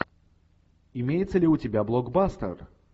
имеется ли у тебя блокбастер